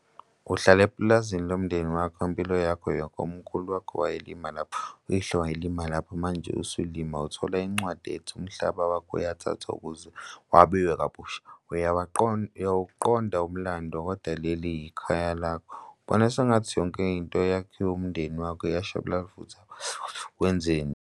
Uhlala epulazini lomndeni wakho impilo yakho yonke, umkhulu wakho wayelima lapho uyihlo walima lapho manje usuluma uthola incwadi ethi umhlaba wakho uyathathwa ukuze wabiwe kabusha. Uyawaqonda, uyawuqonda umlando. Kodwa leli ikhaya lakho ubona sengathi yonke into yakho eyiwumndeni wakho iyashabalala futhi awazi wenzeni.